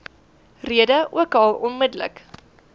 rede ookal onmiddellik